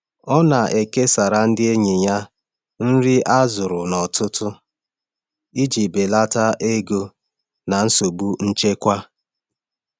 Ọ na-ekesara ndị enyi ya nri a zụrụ n’ọtụtụ iji belata ego na nsogbu nchekwa.